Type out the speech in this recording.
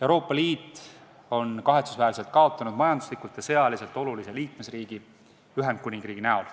Euroopa Liit on kahetsusväärselt kaotanud ühe majanduslikult ja sõjaliselt olulise liikmesriigi, Ühendkuningriigi.